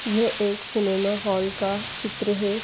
ये एक cinema hall का चित्र है।